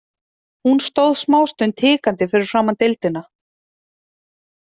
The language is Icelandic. Hún stóð smástund hikandi fyrir framan deildina.